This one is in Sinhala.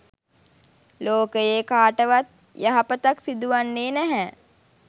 ලෝකයේ කාටවත් යහපතක් සිදුවන්නේ නැහැ.